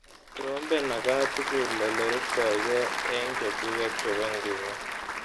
Trompen akatukul oleruptaike eng chechuket chebo ngunoo.